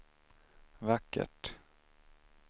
vackert